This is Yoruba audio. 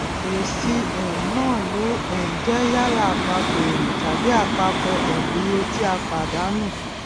èsì um náà yóò um jẹ yálà àpapọ èrè tàbí àpapọ um iye tí a pàdánù